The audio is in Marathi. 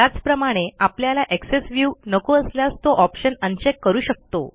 त्याचप्रमाणे आपल्याला एक्सेस viewनको असल्यास तो ऑप्शन अनचेक करू शकतो